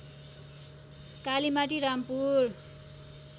Kalimati Rampur